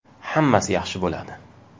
Hammasi yaxshi bo‘ladi!